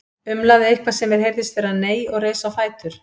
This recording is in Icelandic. Umlaði eitthvað sem mér heyrðist vera nei og reis á fætur.